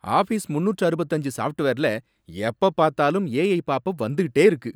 Office முன்னூற்று அறுபத்து அஞ்சு சாஃப்ட்வேர்ல எப்ப பார்த்தாலும் ஏஐ பாப்அப் வந்துட்டே இருக்கு.